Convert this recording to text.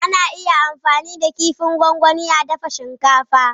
Ana iya amfani da kifin gwangwani a dafa shinkafa.